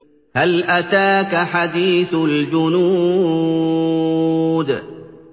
هَلْ أَتَاكَ حَدِيثُ الْجُنُودِ